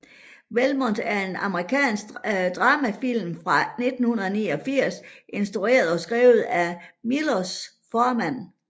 Valmont er en amerikansk dramafilm fra 1989 instrueret og skrevet af Miloš Forman